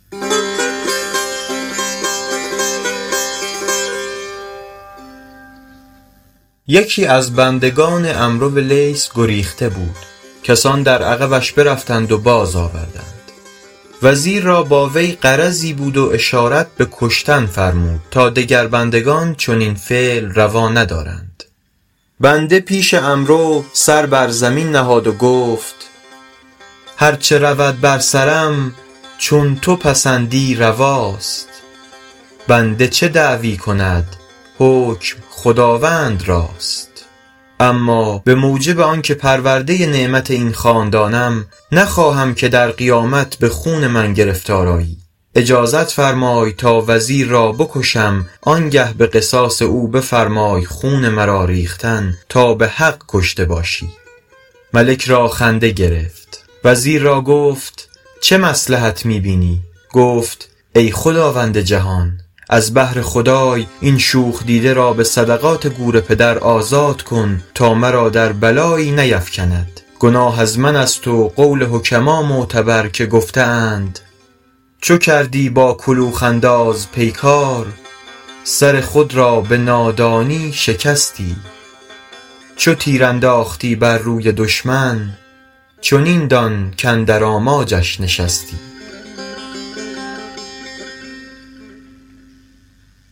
یکی از بندگان عمرو لیث گریخته بود کسان در عقبش برفتند و باز آوردند وزیر را با وی غرضی بود و اشارت به کشتن فرمود تا دگر بندگان چنین فعل روا ندارند بنده پیش عمرو سر بر زمین نهاد و گفت هر چه رود بر سرم چون تو پسندی رواست بنده چه دعوی کند حکم خداوند راست اما به موجب آن که پرورده نعمت این خاندانم نخواهم که در قیامت به خون من گرفتار آیی اجازت فرمای تا وزیر را بکشم آن گه به قصاص او بفرمای خون مرا ریختن تا به حق کشته باشی ملک را خنده گرفت وزیر را گفت چه مصلحت می بینی گفت ای خداوند جهان از بهر خدای این شوخ دیده را به صدقات گور پدر آزاد کن تا مرا در بلایی نیفکند گناه از من است و قول حکما معتبر که گفته اند چو کردی با کلوخ انداز پیکار سر خود را به نادانی شکستی چو تیر انداختی بر روی دشمن چنین دان کاندر آماجش نشستی